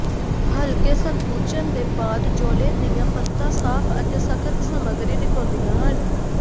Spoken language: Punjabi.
ਹਲਕੇ ਸੰਕੁਚਨ ਦੇ ਬਾਅਦ ਜੋਲੋ ਦੀਆਂ ਪਰਤਾਂ ਸਾਫ ਅਤੇ ਸਖ਼ਤ ਸਮੱਗਰੀ ਦਿਖਾਉਂਦੀਆਂ ਹਨ